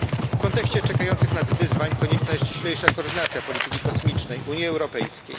W kontekście czekających nas wyzwań konieczna jest ściślejsza koordynacja polityki kosmicznej Unii Europejskiej.